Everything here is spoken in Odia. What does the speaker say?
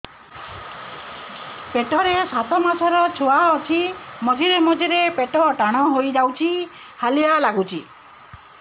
ପେଟ ରେ ସାତମାସର ଛୁଆ ଅଛି ମଝିରେ ମଝିରେ ପେଟ ଟାଣ ହେଇଯାଉଚି ହାଲିଆ ଲାଗୁଚି